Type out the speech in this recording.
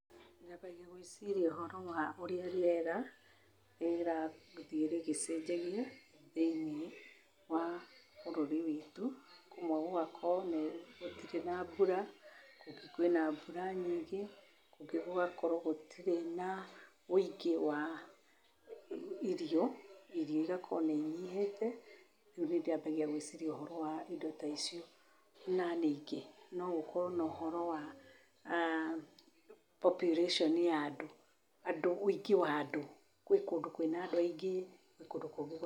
Nyambagia gwĩciria ũhoro wa ũrĩa rĩera, rĩera gũthiĩ rĩgĩcenjagia thĩ-inĩ wa bũrũri witũ, kũmwe gũgakorwo me gũtirĩ na mbura, kũngĩ kwĩna mbura nyingĩ, kũngĩ gũgakorwo gũtirĩ na ũingĩ wa irio, irio igakorwo nĩ inyihĩte, nĩ rĩo nyambagia gwĩciria ũhoro wa indo ta icio. Na ningĩ no gũkorwo na ũhoro wa population ya andũ, ũingĩ wa andũ, gwĩ kũndũ kwĩna andũ aingĩ, gwĩ kũngũ kũngĩ gũtarĩ,